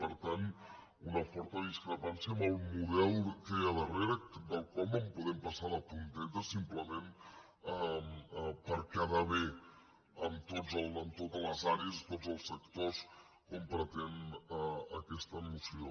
per tant una forta discrepància en el model que hi ha darrere pel qual no podem passar de puntetes simplement per quedar bé amb totes les àrees i tots els sectors com pretén aquesta moció